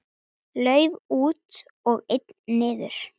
Lauf út og einn niður.